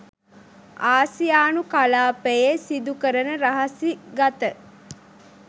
ආසියානු කලාපයේ සිදුකරන රහසිගත